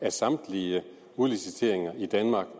af samtlige udliciteringer i danmark